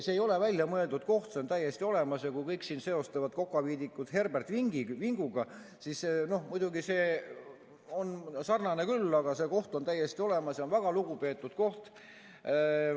See ei ole väljamõeldud koht, see on täiesti olemas, ja kui kõik seostavad Kokaviidikat Herbert Vinguga, siis muidugi see on sarnane küll, aga tegelikult on see koht täiesti olemas ja see on väga lugupeetud koht.